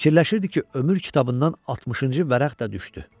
Fikirləşirdi ki, ömür kitabından 60-cı vərəq də düşdü.